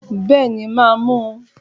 Béèni màá mu